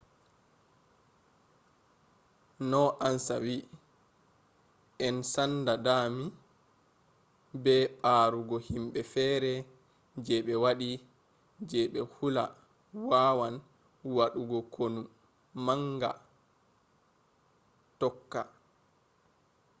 no ansa wi'i en sanda dami be ɓarugo himɓe feere je be waɗi je be hula wawan wadugo konu manga tokka